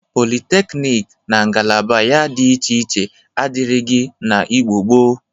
Politeknik na ngalaba ya dị iche iche adịrịghị n'Igbo gboo.